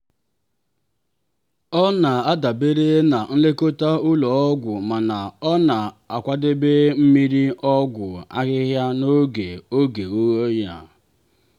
ọ na-adabere na nlekọta ụlọ ọgwụ mana ọ na-akwadebe mmiri ọgwụ ahịhịa n'oge oge oyi.